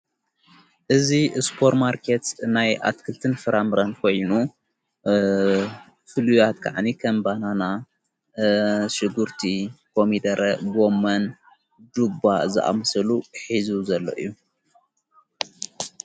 እዙ ስ ሱፐርማርኬት ናይ ኣትክልትን ፍራምረን ኾይኑ ፍሉያት ከዓኒ ኸምባናና ሽጉርቲ ኮሚደረ ቦመን ዱባ ዝኣምሰሉ ኂዙ ዘለ ዩ።